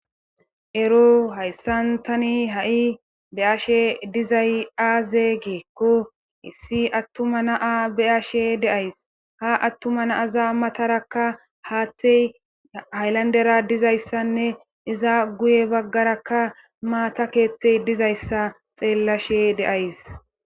ero hayssantani ha7i beashe dizay aazee giikko issi attuma naa be ashe deays ha attuma naaza matarakka haaththey haylandera dizayssanne iza guye baggarakka maata keeththey dizayssa xeellashe deays